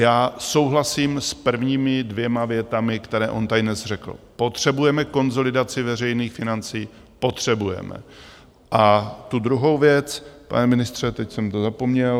Já souhlasím s prvními dvěma větami, které on tady dnes řekl, potřebujeme konsolidaci veřejných financí, potřebujeme, a tu druhou věc, pane ministře, teď jsem to zapomněl.